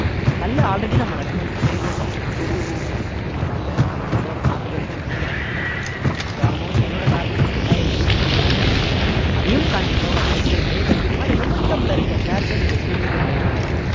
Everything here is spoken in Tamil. hal already நம்ம recommend பண்ணியிருந்த share தான் hall உங்களுக்கு hope ஞாபகம் இருக்கும்னு நினைக்கிறேன் so almost என்னோட target வந்து இரண்டாயிரத்தி எண்ணூத்தி பதினைஞ்சு அதையும் தாண்டி போக வாய்ப்புகள் நிறையவே இருக்கு இந்த மாதிரி momentum ல இருக்க shares அ நீங்க swing க்கு try பண்ணலாம்